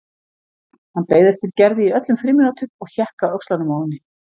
Hann beið eftir Gerði í öllum frímínútum og hékk á öxlunum á henni.